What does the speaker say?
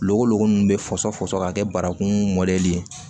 Logo logolo in bɛ fɔsɔfɔsɔ ka kɛ barakundɛli ye